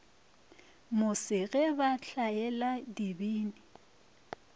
mose ge ba hlaela dibini